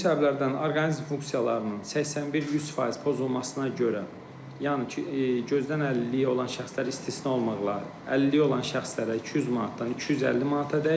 Ümumi səbəblərdən orqanizm funksiyalarının 81-100% pozulmasına görə, yəni gözdən əlilliyi olan şəxslər istisna olmaqla, əlilliyi olan şəxslərə 200 manatdan 250 manatadək.